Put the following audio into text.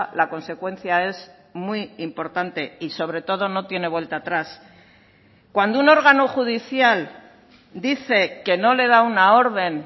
la consecuencia es muy importante y sobre todo no tiene vuelta atrás cuando un órgano judicial dice que no le da una orden